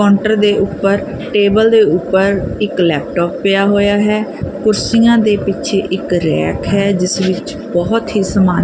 ਕਾਟਰ ਦੇ ਉੱਪਰ ਟੇਬਲ ਦੇ ਉੱਪਰ ਇੱਕ ਲੈਪਟਾਪ ਪਿਆ ਹੋਇਆ ਹੈ ਕੁਰਸੀਆਂ ਦੇ ਪਿੱਛੇ ਇੱਕ ਰੈਕ ਹੈ ਜਿਸ ਵਿੱਚ ਬਹੁਤ ਹੀ ਸਮਾਨ--